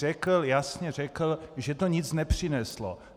Řekl, jasně řekl, že to nic nepřineslo.